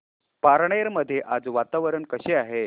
पारनेर मध्ये आज वातावरण कसे आहे